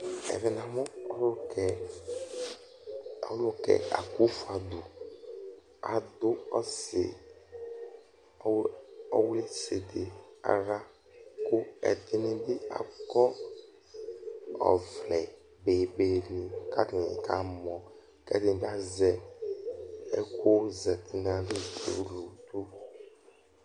Ɛvɛ namʋ Ɔlʋkɛ Ɔlʋkɛ AKUFUADU adʋ ɔsɩ ɔwlɩ ɔwlɩsɩdɩ aɣla ; kʋ ɛdɩnɩ bɩ akɔ ɔvlɛ bebenɩ k'atanɩ kamɔ K'ɛdɩɛ bɩ azɛ ɛkʋzati n'ayili kpɔ uludʋ